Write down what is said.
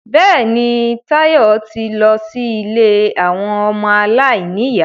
Bẹ́ẹ̀ni, Táyọ̀ ti lọ sí ilé àwọn ọmọ aláìníyà